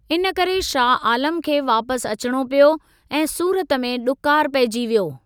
इन करे, शाह आलम खे वापसि अचिणो पियो ऐं सूरत में ॾुकार पइजी वियो।